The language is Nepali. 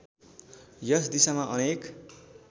यस दिशामा अनेक